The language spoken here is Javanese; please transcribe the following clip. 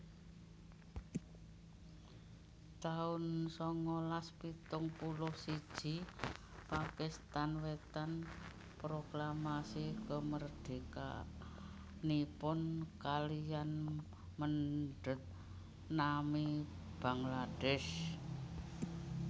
taun sangalas pitung puluh siji Pakistan Wetan proklamasi kamardikanipun kaliyan mendhet nami Bangladesh